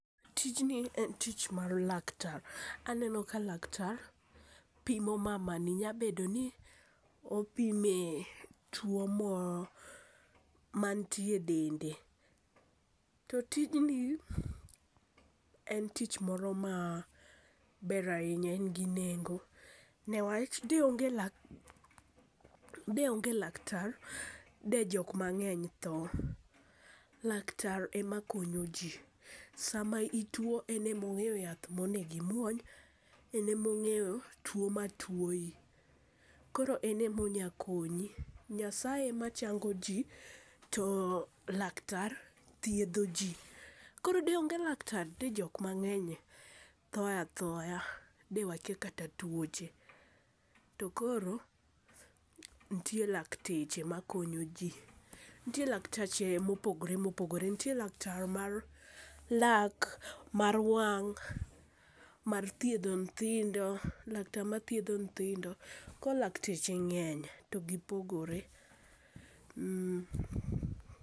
Tijni en tich mar laktar, aneno ka laktar pimo mamami nya bedo ni opime two mo ma manitie dende, to tijni en tich moro maber ahinya en gi nengo, ne wach de onge laktar de onge laktar de jok mang'eny tho , laktar emakonyo ji, sama ituo ene ma ong'eyo yath ma onego e imwony enemong'eyo tuo ma tuoyi koro ene ma onya konyi , nyasaye emachango ji to laktar thietho ji , koro de onge laktar de jomang'eny tho athoa, dewakia kata twoche, to koro nitie lakteche makonyoji, nitie laktache mopogore opogore nitie laktar mar lak, mar wang', mar thietho nyithindo laktar mathietho nyithindo koro lakteche ng'eny to gipogore